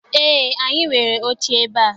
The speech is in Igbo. Eé, anyị nwere oche ebea.